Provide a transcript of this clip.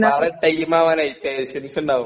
പാറെ ടൈമാവാനായി പേശ്യൻസിണ്ടാവും.